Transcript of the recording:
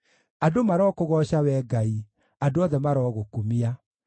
Andũ marokũgooca, Wee Ngai; andũ othe marogũkumia.